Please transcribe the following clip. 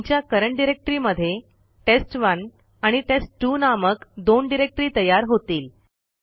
तुमच्या current directory मध्ये test1आणि टेस्ट2 नामक दोन डिरेक्टरी तयार होतील